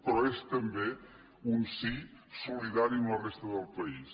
però és també un sí solidari amb la resta del país